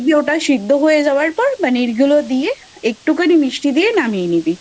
ওটা সেদ্ধ হয়ে যাওয়ার পর মানে ওই গুলো দিয়ে একটু খানি মিষ্টি দিয়ে নামিয়ে নিবি।